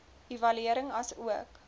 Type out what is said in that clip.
evaluering asook